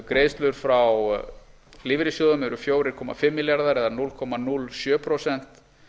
greiðslur frá lífeyrissjóðum eru fjögur komma fimm milljarðar eða núll komma núll sjö prósent